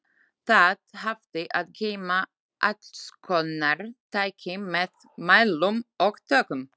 Það hafði að geyma allskonar tæki með mælum og tökkum.